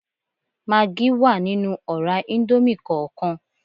Magí wà nínú ọ̀rá íńdómì kọọkan